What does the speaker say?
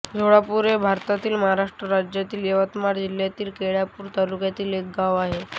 झोळापूर हे भारतातील महाराष्ट्र राज्यातील यवतमाळ जिल्ह्यातील केळापूर तालुक्यातील एक गाव आहे